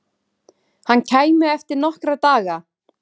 Hann kæmi eftir nokkra daga.